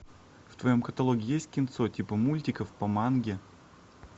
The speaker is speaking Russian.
в твоем каталоге есть кинцо типа мультиков по манге